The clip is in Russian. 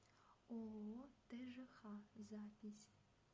ооо тжх запись